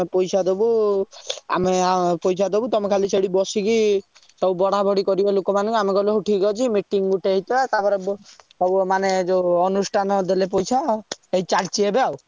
ଦବୁ ଆମେ ପଇସା ଦବୁ ତମେ ଖାଲି ସେଠି ବସିକି ସବୁ ବଡା ବଡି କରିବ ଲୋକମାନକୁ ଆମେ କହିଲୁ ହଉ ଠିକ ଅଛି meeting ଗୋଟେ ହେଇଥିଲା ତାପରେ ବ~ ସବୁ ଏମାନେ ସବୁ ଯଉ ଅନୁଷ୍ଟାନ ଦେଲେ ପଇସା ତାପରେ ଚାଲିଛି ଏବେ ଆଉ।